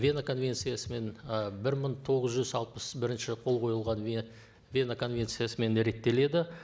вена конвенциясымен ы бір мың тоғыз жүз алпыс бірінші қол қойылған вена конвенциясымен реттеледі